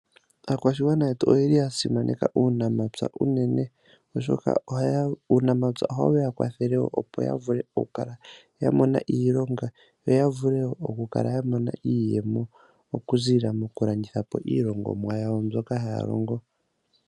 Aakwashigwa yetu oyeli ya simaneka uunamapya unene. Oshoka uunamapya ohawu ya kwathele wo opo ya vule okukala ya mona iilonga yo ya vule wo okukala ya mona iiyemo okuziilila mokulanditha po iilongomwa yawo mbyoka haya longo.